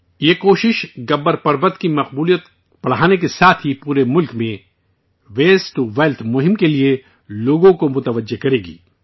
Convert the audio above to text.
یہ کوشش، گبر پروت کی دلکشی بڑھانے کے ساتھ ہی، پورے ملک میں 'ویسٹ ٹو ویلتھ' مہم کے لیے لوگوں کو آمادہ کرے گی